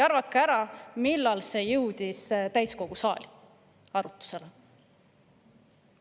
Arvake ära, millal jõudis see arutlusele täiskogu saali?